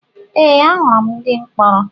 Ee ahụrụ m ndị mkpọrọ